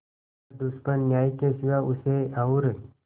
न दुश्मन न्याय के सिवा उसे और